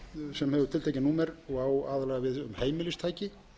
sem hefur tiltekið númer og á aðallega við heimilistæki